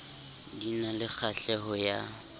di na le kgahleho ya